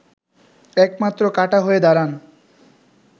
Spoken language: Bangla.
একমাত্র কাঁটা হয়ে দাঁড়ান